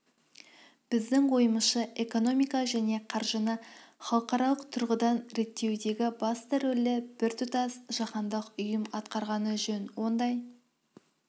біздің ойымызша экономиканы және қаржыны халықаралық тұрғыдан реттеудегі басты рөлді біртұтас жаһандық ұйым атқарғаны жөн ондай